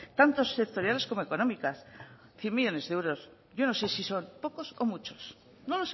tanto sectoriales como económicas cien millónes de euros yo no sé si son pocos o muchos no